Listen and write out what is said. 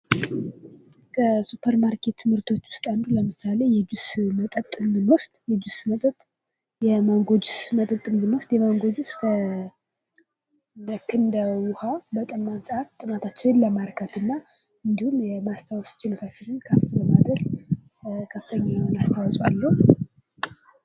ከሱፐር ማርኬት ምርቶች ውስጥ አንዱ ለምሳሌ የጁስ መጠጥን ብንወስድ የጁስ መጠጥ የማንጎች የጁስ መጠጥን ብንወስድ የማንጎች ልክ እንደ ውሀ በጠማን ሰአት ጥማታችን ለማርካትና እንዲሁም የማስታወስ ችሎታችን ከፍ ለማድረግ ከፍተኛ የሆነ አስተዋኦ አለው።